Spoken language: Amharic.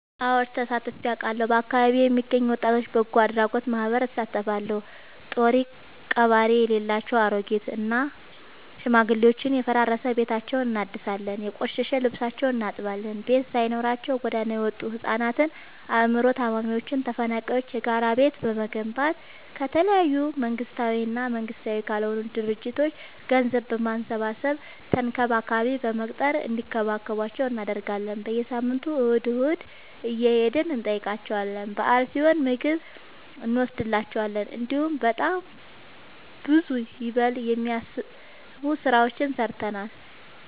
አወድ ተሳትፊ አውቃለሁ። በአካቢዬ የሚገኝ የወጣቶች በጎአድራጎት ማህበር እሳተፋለሁ። ጦሪቀባሪ የሌላቸው አሬጊት እና ሽማግሌዎችን የፈራረሰ ቤታቸውን እናድሳለን፤ የቆሸሸ ልብሳቸውን እናጥባለን፤ ቤት ሳይኖራቸው ጎዳና የወጡቱ ህፃናትን አይምሮ ታማሚዎችን ተፈናቃይዎችን የጋራ ቤት በመገንባት ከተለያዩ መንግስታዊ እና መንግስታዊ ካልሆኑ ድርጅቶች ገንዘብ በማሰባሰብ ተንከባካቢ በመቅጠር እንዲከባከቧቸው እናደርጋለን። በየሳምንቱ እሁድ እሁድ እየሄድን እንጠይቃቸዋለን በአል ሲሆን ምግብ እኖስድላቸዋለን። እንዲሁም በጣም ብዙ ይበል የሚያስብ ስራዎችን ሰርተናል።